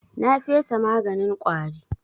Na fesa maganin ƙwari.